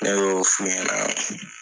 Ne y'o f'i ɲɛna